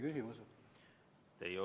Küsimust ei olnud.